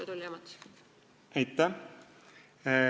Aitäh!